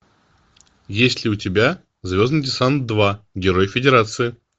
есть ли у тебя звездный десант два герой федерации